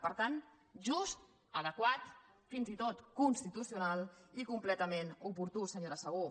per tant just adequat fins i tot constitucional i completament oportú senyora segú